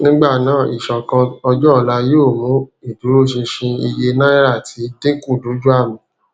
nígbà náà ìṣòkan ọjọ ọla yóò mú ìdúróṣinṣin iye náírà ti dínkù dojú àmì